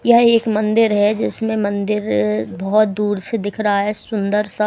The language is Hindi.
यह एक मंदिर है जिसमें मंदिर बहोत दूर से दिख रहा है सुंदर सा--